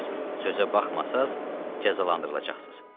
Sözə baxmasanız, cəzalandırılacaqsınız.